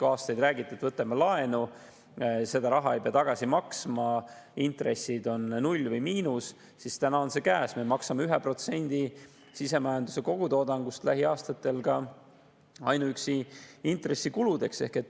Aastaid on räägitud, et võtame laenu, seda raha ei pea tagasi maksma, sest intressid on null või miinuses, aga nüüd on see käes, et me maksame lähiaastatel 1% sisemajanduse kogutoodangust ainuüksi intressikuludeks.